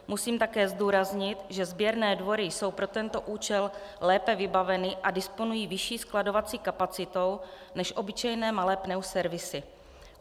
Musím také zdůraznit, že sběrné dvory jsou pro tento účel lépe vybaveny a disponují vyšší skladovací kapacitou než obyčejné malé pneuservisy.